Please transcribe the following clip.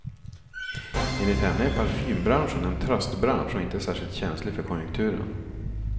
Enligt henne är parfymbranschen en tröstbransch och inte särskilt känslig för konjunkturen.